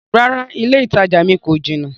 Rárá, ilẹ́ ìtajà mi kò jinà.